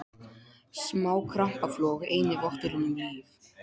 Smá krampaflog eini votturinn um líf.